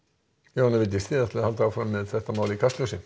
Jóhanna Vigdís þið haldið áfram með þetta mál í Kastljósi